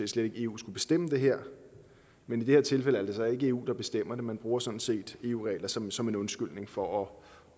slet ikke eu skulle bestemme det her men i det her tilfælde er det så ikke eu der bestemmer det man bruger sådan set eu regler som som en undskyldning for at